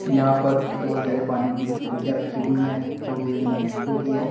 यहां पर बहुत सारे पानी की टंकियां रखी हुई है जो विभिन्न रंगो की है।